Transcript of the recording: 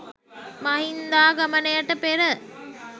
මහින්දාගමනයට පෙර